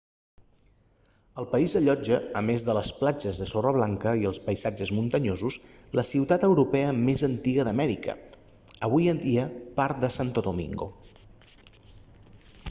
el país allotja a més de les platges de sorra blanca i els paisatges muntanyosos la ciutat europea més antiga d'amèrica avui en dia part de santo domingo